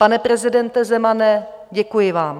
Pane prezidente Zemane, děkuji vám.